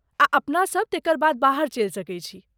आ अपनासभ तेकर बाद बाहर चलि सकैत छी।